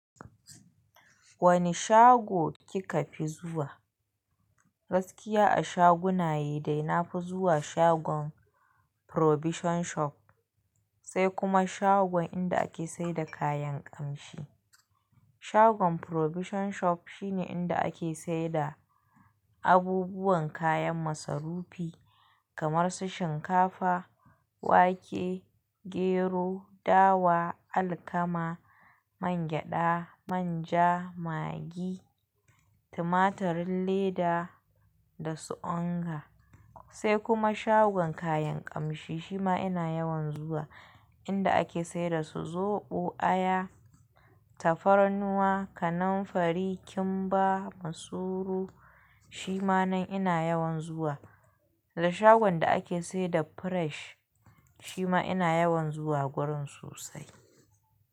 Wane shago kika fi zuwa? Gaskiya a shaguna yi dai na fi zuwa shagon Provision Shop, sai kuma shagon inda ake saida kayan ƙamshi. Shagon Provision Shop shi ne inda ake saida abubuwan kayan masarufi kamar su shinkafa, wake, gero, dawa, alkama, mangyaɗa, manja, magi, tumatirin leda da su onga. Sai kuma shagon kayan ƙamshi shima ina yawan zuwa, inda ake saida su zoɓo, aya, tafarnuwa, kananfari, kimba, masuru shima nan ina yawan zuwa. Da shagon da ake saida fresh shima ina yawan zuwa gurin sosai.